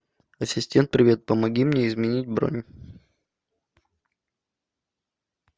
ассистент привет помоги мне изменить бронь